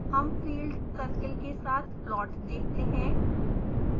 हम field circle के साथ प्लॉट देखते हैं